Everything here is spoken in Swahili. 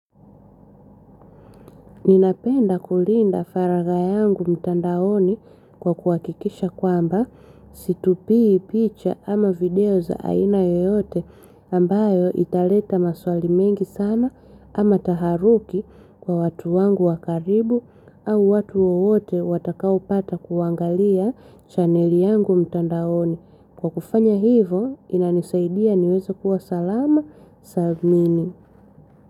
Ninapenda kulinda faraga yangu mtandaoni kwa kuhakikisha kwamba situpii picha ama video za aina yoyote ambayo italeta maswali mengi sana ama taharuki kwa watu wangu wa karibu au watu wowote watakao pata kuangalia chaneli yangu mtandaoni. Kwa kufanya hivyo inanisaidia niwezae kuwa salama salimini.